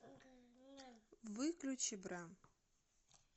выключи бра